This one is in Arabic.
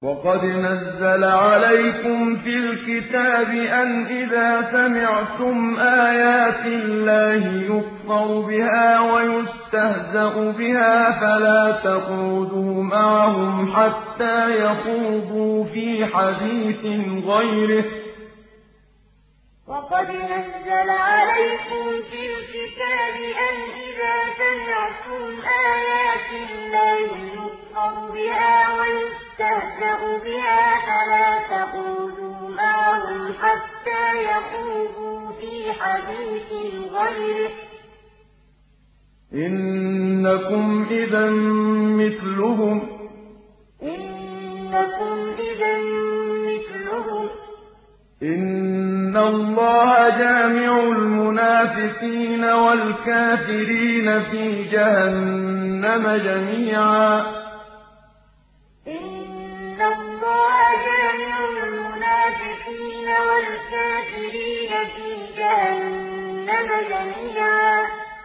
وَقَدْ نَزَّلَ عَلَيْكُمْ فِي الْكِتَابِ أَنْ إِذَا سَمِعْتُمْ آيَاتِ اللَّهِ يُكْفَرُ بِهَا وَيُسْتَهْزَأُ بِهَا فَلَا تَقْعُدُوا مَعَهُمْ حَتَّىٰ يَخُوضُوا فِي حَدِيثٍ غَيْرِهِ ۚ إِنَّكُمْ إِذًا مِّثْلُهُمْ ۗ إِنَّ اللَّهَ جَامِعُ الْمُنَافِقِينَ وَالْكَافِرِينَ فِي جَهَنَّمَ جَمِيعًا وَقَدْ نَزَّلَ عَلَيْكُمْ فِي الْكِتَابِ أَنْ إِذَا سَمِعْتُمْ آيَاتِ اللَّهِ يُكْفَرُ بِهَا وَيُسْتَهْزَأُ بِهَا فَلَا تَقْعُدُوا مَعَهُمْ حَتَّىٰ يَخُوضُوا فِي حَدِيثٍ غَيْرِهِ ۚ إِنَّكُمْ إِذًا مِّثْلُهُمْ ۗ إِنَّ اللَّهَ جَامِعُ الْمُنَافِقِينَ وَالْكَافِرِينَ فِي جَهَنَّمَ جَمِيعًا